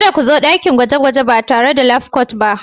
Kada ku zo dakin gwaje-gwaje ba tare da labcoat ba.